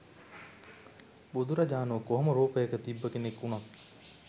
බුදුරජාණෝ කොහොම රූපයක තිබ්බ කෙනෙක් උනත්.